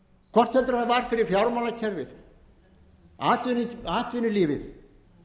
hvort heldur það var fyrir fjármálakerfið atvinnulífið